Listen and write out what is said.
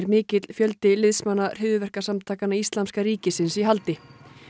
mikill fjöldi liðsmanna hryðjuverkasamtakanna íslamska ríkisins í haldi